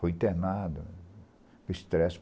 Foi internado, com estresse.